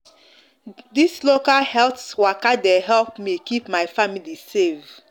this local health waka dey help me keep my family safe